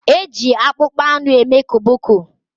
Eji akpụkpọanụ eme koboko.